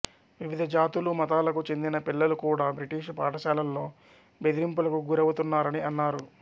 వివిధ జాతులు మతాలకు చెందిన పిల్లలు కూడా బ్రిటిషు పాఠశాలల్లో బెదిరింపులకు గురవుతున్నారని అన్నారు